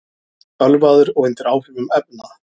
Ölvaður og undir áhrifum efna